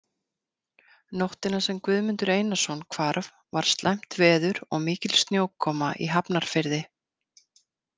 Nóttina sem Guðmundur Einarsson hvarf var slæmt veður og mikil snjókoma í Hafnarfirði.